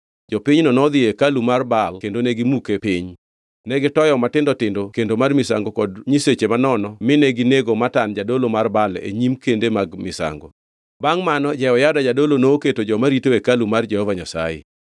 Jopinyno nodhi e hekalu mar Baal kendo negimuke piny. Negitoyo matindo tindo kendo mar misango kod nyiseche manono mi ginego Matan jadolo mar Baal e nyim kende mag misango. Bangʼ mano Jehoyada jadolo noketo joma rito hekalu mar Jehova Nyasaye.